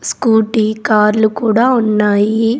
Scooty కార్లు కూడా ఉన్నాయి.